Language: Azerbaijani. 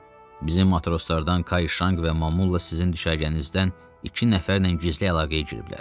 Bizim matroslardan Kaişanq və Mamulla sizin düşərgənizdən iki nəfərlə gizli əlaqəyə giriblər.